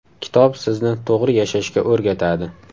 Kitob sizni to‘g‘ri yashashga o‘rgatadi.